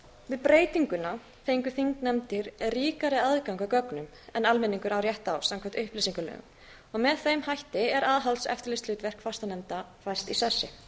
við breytinguna fengu þingnefndir ríkari aðgang að gögnum en almenningur á rétt á samkvæmt upplýsingalögum og með þeim hætti er aðhalds og eftirlitshlutverk fastanefnda fest í sessi